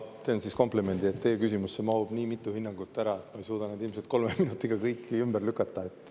Ma teen komplimendi, et teie küsimusse mahub nii mitu hinnangut ära, et ma ei suuda neid kõiki ilmselt kolme minutiga ümber lükata.